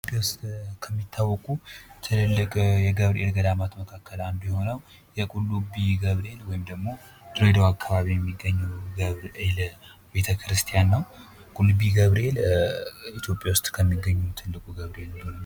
የኢትዮጵያ ውስጥ ከሚታወቁ ትላልቅ የገብርኤል ገዳማት መካከል አንዱ የሆነው ቁልቢ ገብርኤል ወይም ደሞ ድሬዳዋ አካባቢ የሚገኘው ገብርኤል ቤተክርስቲያ ነው። ቁልቢ ገብርኤል ኢትዮጵያ ውስጥ ከሚገኙ ትልቁ ገብርኤል ነው።